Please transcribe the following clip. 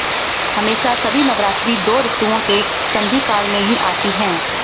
हमेशा सभी नवरात्रि दो ऋतुओं के संधिकाल में ही आती है